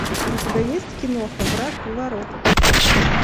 у тебя есть киноха враг у ворот